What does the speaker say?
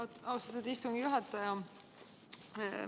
Aitäh, austatud istungi juhataja!